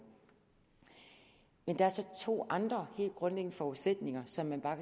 men der er så to andre helt grundlæggende forudsætninger som man bare